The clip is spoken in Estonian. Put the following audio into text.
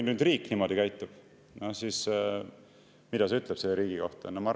" Kui riik niimoodi käitub, siis mida see ütleb selle riigi kohta?